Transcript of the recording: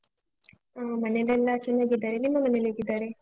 ಹ ಮನೆಲೆಲ್ಲ ಚೆನ್ನಾಗಿದ್ದಾರೆ. ನಿಮ್ಮ ಮನೇಲ್ಹೇಗಿದ್ದಾರೆ?